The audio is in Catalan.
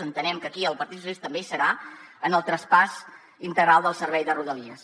entenem que aquí el partit socialista també hi serà en el traspàs integral del servei de rodalies